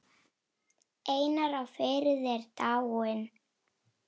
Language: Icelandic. Einar á Firði er dáinn.